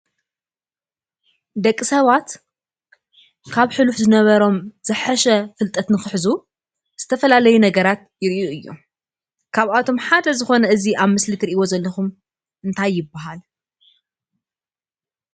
ደቂ ሰባት ካብ ሕሉፍ ዝነበሮም ዝሐሸ ፍልጠት ንክሕዙ ዝተፈላለዩ ነገራት ይርእዩ እዮም? ካብኣቶም ሓደ ዝኮነ እዚ ኣብ ምስሊ እትሪእይዎ ዘለኩም እንታይ ይበሃል?